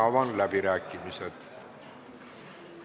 Avan läbirääkimised.